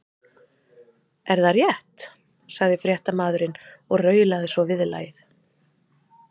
Er það rétt? sagði fréttamaðurinn og raulaði svo viðlagið.